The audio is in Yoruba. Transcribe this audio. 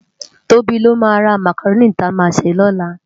Tobi ló má rá mákáróni ti á má sé lòlá